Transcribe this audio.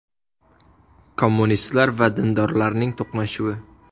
Kommunistlar va dindorlarning to‘qnashuvi.